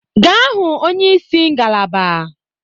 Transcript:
Gaa hụ onyeisi ngalaba!